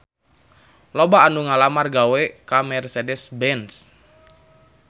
Loba anu ngalamar gawe ka Mercedez-Benz